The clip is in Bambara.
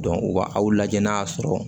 u ba aw lajɛ n'a sɔrɔ